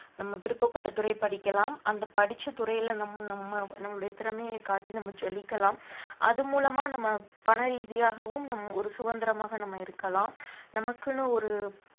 நம்ம விருப்பப்பட்ட துறை படிக்கலாம் அந்த படிச்ச துறையில நம்ம நம்ம நம்முடைய திறமைய காட்டி நம்ம ஜொலிக்கலாம் அது மூலமா நம்ம பண ரீதியாகவும் நம்~ ஒரு சுதந்திரமாக நம்ம இருக்கலாம் நமக்குன்னு ஒரு